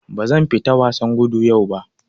Bazan fita wasan gudu yau ba.